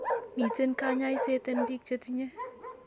Miten kanyaiset en biik chetinye